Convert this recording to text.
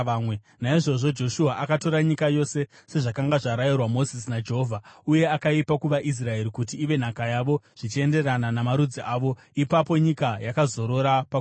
Naizvozvo Joshua akatora nyika yose, sezvakanga zvarayirwa Mozisi naJehovha, uye akaipa kuvaIsraeri kuti ive nhaka yavo zvichienderana namarudzi avo. Ipapo nyika yakazorora pakurwa.